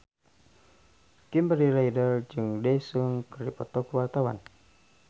Kimberly Ryder jeung Daesung keur dipoto ku wartawan